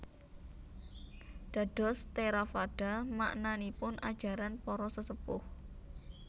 Dados Theravada maknanipun Ajaran Para Sesepuh